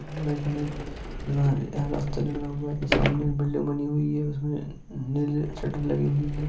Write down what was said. सामने कनिक रा-रास्ता है सामने एक बिल्डिंग बनी हुई है उसमे नीली शटर लगी हुई है।